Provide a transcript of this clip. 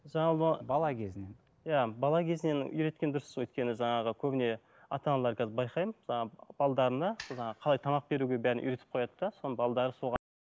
жалпы бала кезінен иә бала кезінен үйреткен дұрыс өйткені жаңағы көбіне ата аналар қазір байқаймын жаңағы жаңағы қалай тамақ беруге бәрін үйретіп қояды да соған